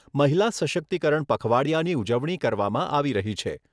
મહિલા સશક્તિકરણ પખવાડીયાની ઉજવણી કરવામાં આવી રહી છે.